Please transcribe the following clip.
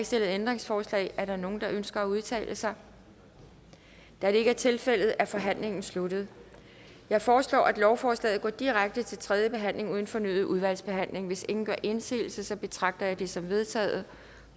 stillet ændringsforslag er der nogen der ønsker at udtale sig da det ikke er tilfældet er forhandlingen sluttet jeg foreslår at lovforslaget går direkte til tredje behandling uden fornyet udvalgsbehandling hvis ingen gør indsigelse betragter jeg det som vedtaget